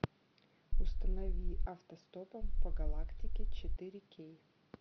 установи автостопом по галактике четыре кей